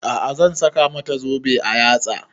A'a zan saka mata zobe a yatsa